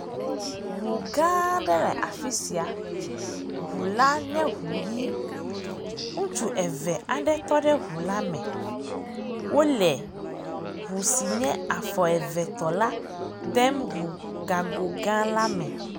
Ŋugãaa aɖe le afi sia. Ŋula nye ŋu ʋi. Ŋutsu eve aɖe tɔ ɖe ŋula me. Wole ŋu si nye afɔ evetɔ la dem ŋu gagogã la me.